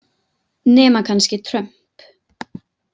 Nema kannski Trump.